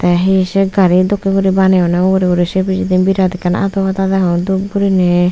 tey he sei gari dokkey guri baneyonney ugurey uri sei pijedi birat ekkan ado pada degong dup guriney.